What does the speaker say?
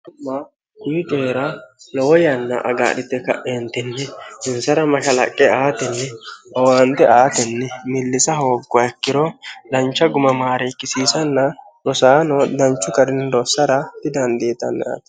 ma kuyi coira lowo yanna agaadhite kaeentinni dinsara mashalaqqe aatenni owaande aatenni millisa hooggowa ikkiro dancha gumamaare ikkisiisanna dosaano danchu garinidoossara didandietanniate